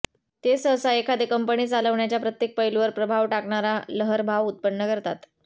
ते सहसा एखादे कंपनी चालवण्याच्या प्रत्येक पैलूवर प्रभाव टाकणारा लहरभाव उत्पन्न करतात